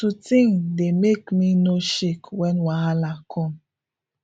to think dey make me no shake when wahala come